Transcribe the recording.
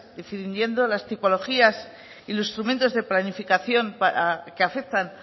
definiendo las tipologías y los instrumentos de planificación que afectan